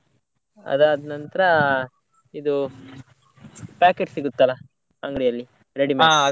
ಅದು ಆದ್ ನಂತ್ರ ಇದು packet ಸಿಗುತ್ತಲ್ಲ ಅಂಗಡಿಯಲ್ಲಿ ready-made .